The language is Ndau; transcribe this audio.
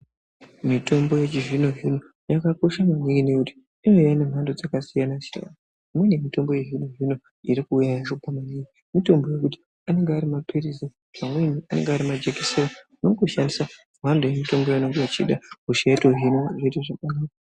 Mitombo yechizvino zvino yakakosha maningi ngekuti inouya iri mhando dzakasiyana siyana imweni mitombo yezvino zvino iri kuuya yacho pamweni mitombo yekuti anenge ari mapirizi pamweni anenge ari majekiseni unongoshandisa mhando yemutombo waunenge wechida hosha yotohinwa zvoite zvakanaka.